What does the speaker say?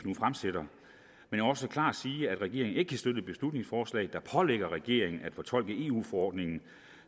nu også klart sige at regeringen ikke kan støtte beslutningsforslag der pålægger regeringen at fortolke eu forordningen